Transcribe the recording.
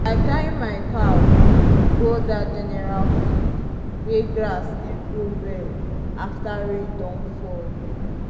i carry my cow go that general field wey grass dey grow well after rain don fall.